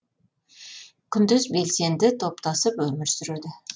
күндіз белсенді топтасып өмір сүреді